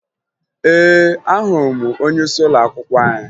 Ee, ahụrụ m onyeisi ụlọakwụkwọ anyị